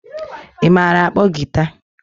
Ị maara akpo giita?